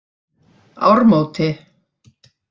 Ármóti